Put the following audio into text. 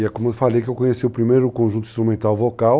E é como eu falei que eu conheci o primeiro conjunto instrumental vocal.